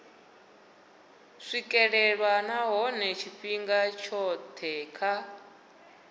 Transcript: swikelelwa nahone tshifhinga tshothe kha